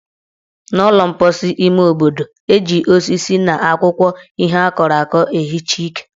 N' ụlọ mposi ime obodo, eji osisi na akwụkwọ ihe akọrọ akọ ehicha ike.